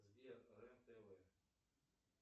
сбер рен тв